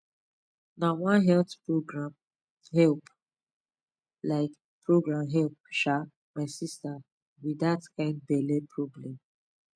na one health program help um program help um my sister with that kind belly problem